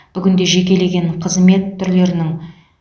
бүгінде жекелеген қызмет түрлерінің